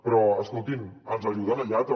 però escoltin ens ajuden allà també